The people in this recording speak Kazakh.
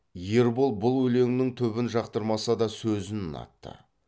ербол бұл өлеңнің түбін жақтырмаса да сөзін ұнатты